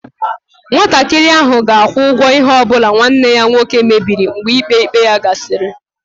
Nwatakịrị nwoke ahụ ga-akwụ ụgwọ ihe ọ bụla nwanne ya nwoke mebiri mgbe ikpe ikpe ya gasịrị.